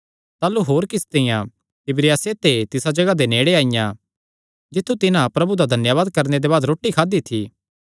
ताह़लू होर किस्तियां तिबिरियासे ते तिसा जगाह दे नेड़े आईआं जित्थु तिन्हां प्रभु दा धन्यावाद करणे दे बाद रोटी खादी थी